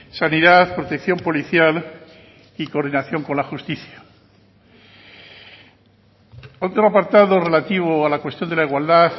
sanidad protección policial y coordinación con la justicia otro apartado relativo a la cuestión de la igualdad